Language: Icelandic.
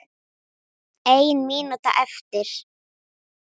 Ein mínúta eftir.